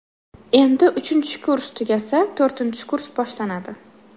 Endi uchinchi kurs tugasa, to‘rtinchi kurs boshlanadi.